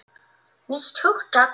Nýtt hugtak!